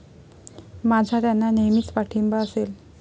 माझा त्यांना नेहमीच पाठिंबा असेल.